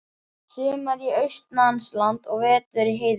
Sumar austanlands og vetur í heiðinni.